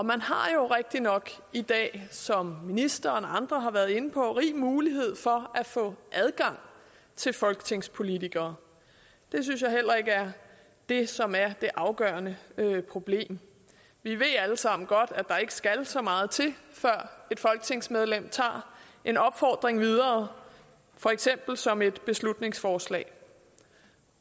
man har jo rigtigt nok i dag som ministeren og andre har været inde på rig mulighed for at få adgang til folketingspolitikere det synes jeg heller ikke er det som er det afgørende problem vi ved alle sammen godt at der ikke skal så meget til før et folketingsmedlem tager en opfordring videre for eksempel som et beslutningsforslag